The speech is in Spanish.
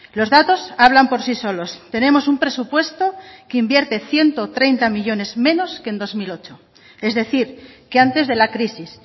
los datos hablan por sí solos tenemos un presupuesto que invierte ciento treinta millónes menos que en dos mil ocho es decir que antes de la crisis